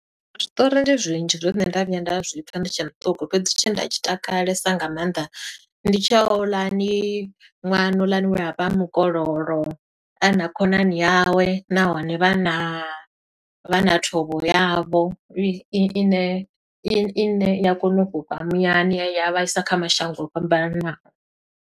Zwiṱori ndi zwinzhi zwe nṋe nda vhuya nda zwi pfa ndi tshe muṱuku. Fhedzi, tshe nda tshi takalesa nga maanḓa, ndi tshi houḽani ṅwana houḽani we a vha a mukololo, a na khonani yawe nahone vha na vha na thovho yavho. I i i ne, i i ne i ya kona u fhufha muyani ya ya vhaisa kha mashango o fhambananaho.